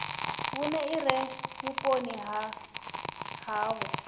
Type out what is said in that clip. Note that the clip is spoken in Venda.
vhune ire vhuponi ha havho